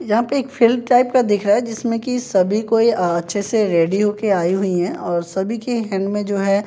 यहां पे एक फील्ड टाइप का दिख रहा है जिसमें कि सभी कोई अह अच्छे से रेडी हो के आई हुई हैं और सभी के हैंड में जो है।